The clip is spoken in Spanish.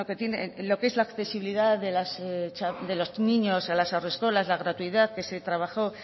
lo que es la accesibilidad de los niños de las haurreskolak la gratuidad que se trabajó